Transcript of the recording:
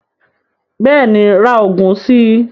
Bẹ́ẹ̀ni ra oògùn si